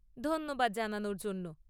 ধন্যবাদ জানানোর জন্য।